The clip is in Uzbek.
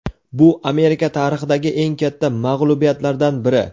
"Bu Amerika tarixidagi eng katta mag‘lubiyatlardan biri".